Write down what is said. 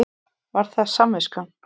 Var það samviskan?